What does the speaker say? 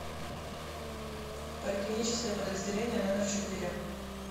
поликлиническое подразделение номер четыре